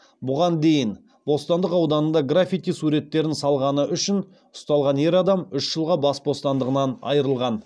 бұған дейін бостандық ауданында граффити суреттерін салғаны үшін ұсталған ер адам үш жылға бас бостандығынан айырылған